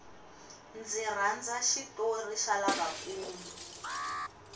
ndzi rhandza xitori xa lava nkulu